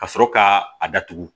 Ka sɔrɔ ka a datugu